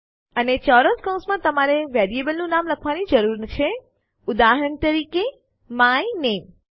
અને ચોરસ કૌંસ માં તમારે વેરિયેબલનું નામ લખવાની જરૂર છે ઉદાહરણ તરીકે માય નામે